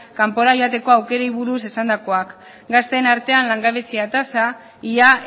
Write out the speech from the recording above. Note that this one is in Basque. kanpora joateko aukerei buruz esandakoak gazteen artean langabezia tasa ia